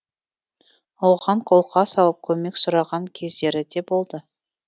оған қолқа салып көмек сұраған кездері де болды